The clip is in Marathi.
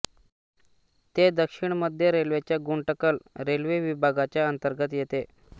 ते दक्षिण मध्य रेल्वेच्या गुंटकल रेल्वे विभागाच्या अंतर्गत येते